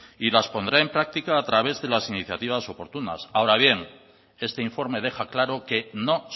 y las pondrá en práctica a través de las iniciativas oportunas ahora bien este informe deja claro que no